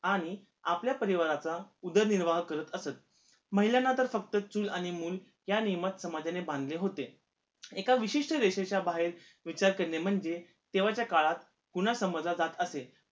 आणि आपल्या परिवाराचा उदरनिर्वाह करत असत महिलांना तर फक्त चूल आणि मूल ह्या नियमात समाजाने बांधले होते एका विशिष्ट रेषेच्या बाहेर विचार करणे म्हणजे तेव्हाच्या काळात गुना समाजात जात असे